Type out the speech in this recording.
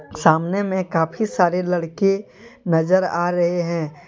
सामने में काफी सारे लड़के नजर आ रहे हैं।